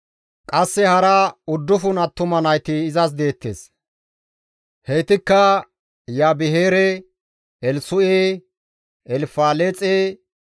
Qasse hara uddufun attuma nayti izas deettes; heytikka Iyabeheere, Elsu7e, Elfaleexe